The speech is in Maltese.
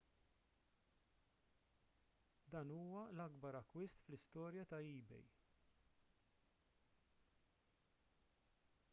dan huwa l-akbar akkwist fl-istorja ta' ebay